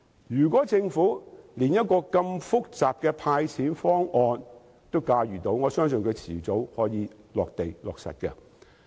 如果政府連如此複雜的"派錢"方案也能夠駕馭，我相信我的方案早晚也可以落實。